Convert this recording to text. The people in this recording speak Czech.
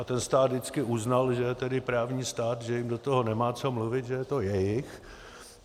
A ten stát vždycky uznal, že je tedy právní stát, že jim do toho nemá co mluvit, že je to jejich.